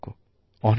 অনেকঅনেক ধন্যবাদ